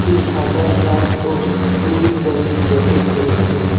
একটি সাদা শার্ট ও নীল রঙের জ্যাকেট পরেছে।